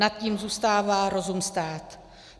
Nad tím zůstává rozum stát.